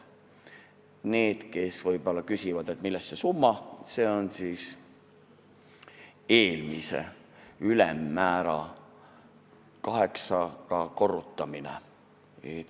Nendele, kes võib-olla küsivad, millest see suurem summa on tulnud, ütlen, et see on eelmise ülemmäära kaheksaga korrutamine.